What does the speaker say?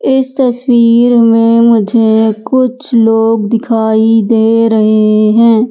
इस तस्वीर में मुझे कुछ लोग दिखाई दे रहे हैं।